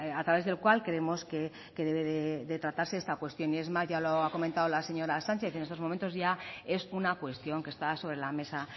a través del cual creemos que debe de tratarse esta cuestión y es más ya lo ha comentado la señora sánchez en estos momentos ya es una cuestión que está sobre la mesa